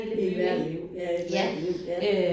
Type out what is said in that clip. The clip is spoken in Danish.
I hver liv ja i et hvert liv ja